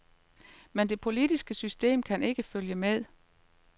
Men det politiske system kan ikke følge med.